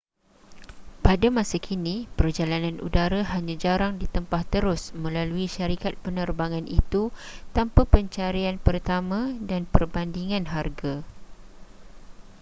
pada masa kini perjalanan udara hanya jarang ditempah terus melalui syarikat penerbangan itu tanpa pencarian pertama dan perbandingan harga